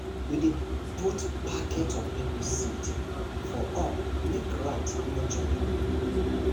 we dey put packet of pepper seed for up make rat no chop m